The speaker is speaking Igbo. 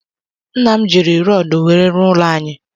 Nnam ji rodu nwere rụọ ụlọ anyi